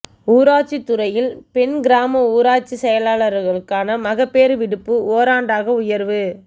ஊராட்சி துறையில் பெண் கிராம ஊராட்சி செயலர்களுக்கான மகப்பேறு விடுப்பு ஓராண்டாக உயர்வு